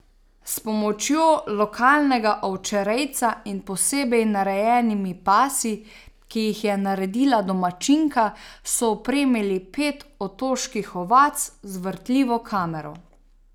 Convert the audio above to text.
S pomočjo lokalnega ovčerejca in posebej narejenimi pasi, ki jih je naredila domačinka, so opremili pet otoških ovac z vrtljivo kamero.